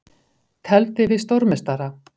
Tefldi við stórmeistara